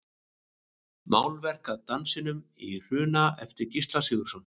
Málverk af Dansinum í Hruna eftir Gísla Sigurðsson.